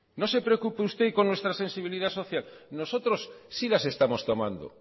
no se preocupe usted con nuestra sensibilidad social nosotros sí las estamos tomando